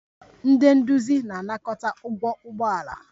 Ndị nduzi na-anakọta ụgwọ ụgbọ ala